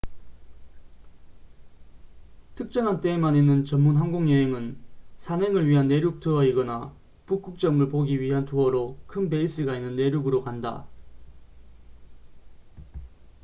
특정한 때에만 있는 전문 항공 여행은 산행을 위한 내륙 투어 이거나 북극점을 보기 위한 투어로 큰 베이스가 있는 내륙으로 간다